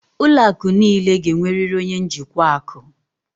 Ụlọ akụ niile ga-enwerịrị onye njikwa akụ.